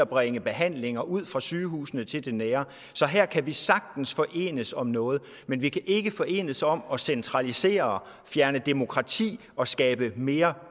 bringe behandlinger ud fra sygehusene til det nære så her kan vi sagtens forenes om noget men vi kan ikke forenes om at centralisere og fjerne demokrati og skabe mere